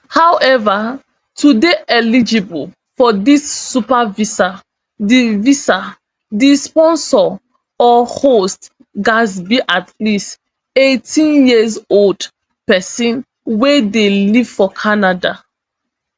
however to dey eligible for dis super visa di visa di sponsor or host gatz be at least eighteenyearold pesin wey dey live for canada